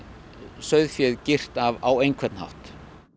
sauðféð girt af á einhvern hátt